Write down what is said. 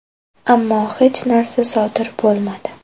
Ammo hech narsa sodir bo‘lmadi.